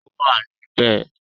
Ó wà níbẹ̀.